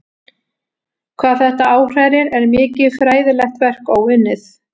Hvað þetta áhrærir er mikið fræðilegt verk óunnið.